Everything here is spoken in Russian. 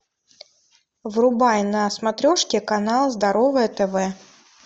врубай на смотрешке канал здоровое тв